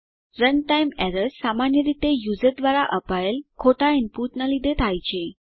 runtime errors સામાન્ય રીતે user દ્વારા અપાયેલ ખોટા ઈનપુટનાં લીધે થાય છે